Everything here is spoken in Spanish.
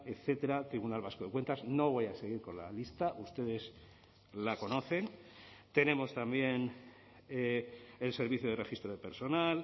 etcétera tribunal vasco de cuentas no voy a seguir con la lista ustedes la conocen tenemos también el servicio de registro de personal